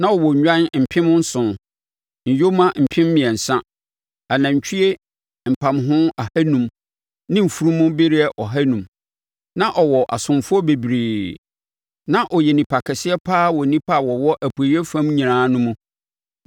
na ɔwɔ nnwan mpem nson, nyoma mpem mmiɛnsa, anantwie mpamho ahanum ne mfunumu bereɛ aha enum, na ɔwɔ asomfoɔ bebree. Na ɔyɛ onipa kɛseɛ paa wɔ nnipa a wɔwɔ Apueeɛ fam nyinaa no mu.